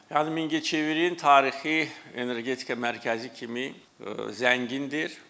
Yəni Mingəçevirin tarixi energetika mərkəzi kimi zəngindir.